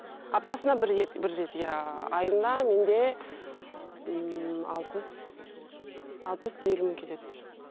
аптасына бір рет бір рет иә айына менде ммм алпыс алпыс елу мың кетеді